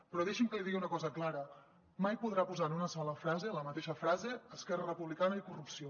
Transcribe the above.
però deixi’m que li digui una cosa clara mai podrà posar en una sola frase en la mateixa frase esquerra republicana i corrupció